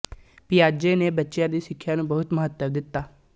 ਪਿਆਜੇ ਨੇ ਬੱਚਿਆਂ ਦੀ ਸਿੱਖਿਆ ਨੂੰ ਬਹੁਤ ਮਹੱਤਵ ਦਿੱਤਾ